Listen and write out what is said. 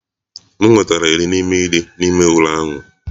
M nwetara iri n'ime iri n'ime ule ahụ.